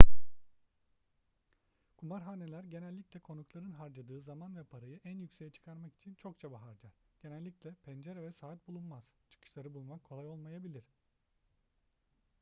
kumarhaneler genellikle konukların harcadığı zaman ve parayı en yükseğe çıkarmak için çok çaba harcar genellikle pencere ve saat bulunmaz çıkışları bulmak kolay olmayabilir